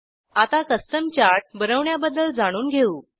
आता custom chart बनवण्याबद्दल जाणून घेऊ